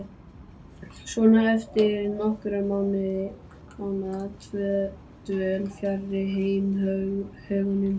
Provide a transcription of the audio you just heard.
Svenna eftir nokkurra mánaða dvöl fjarri heimahögunum.